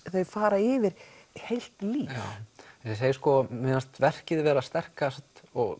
þau fara yfir heilt líf já mér fannst verkið vera sterkast og